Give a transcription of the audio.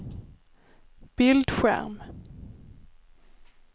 bildskärm